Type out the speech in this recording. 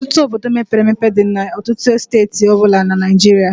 Ọtụtụ Obodo mepere emepe dị na steeti ọ bụla na Naịjirịa.